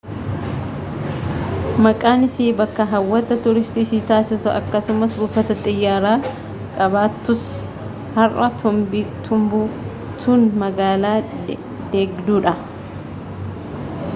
maqaan isii bakka hawwata tuuristii isii taasisus akkasumas buufata xiyyaaraa qabaattus har'a timbuktuun magaala deegduudha